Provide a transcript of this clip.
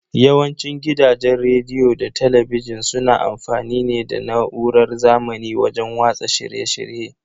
Yawanci gidajen rediyo da talabijin suna amfani ne da na'urar zamani wajen watsa shirye shirye.